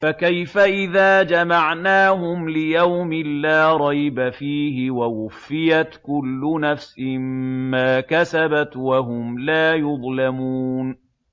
فَكَيْفَ إِذَا جَمَعْنَاهُمْ لِيَوْمٍ لَّا رَيْبَ فِيهِ وَوُفِّيَتْ كُلُّ نَفْسٍ مَّا كَسَبَتْ وَهُمْ لَا يُظْلَمُونَ